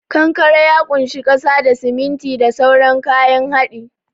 Kankare ya kunshi kasa da, siminti da sauran kayan hadi.